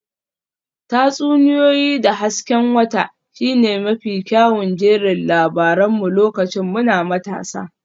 Tatsuniyoyi da hasken wata shine mafi kyawun jerin labaran mu lokacin muna matasa